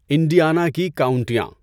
Indiana کی کاؤنٹیاں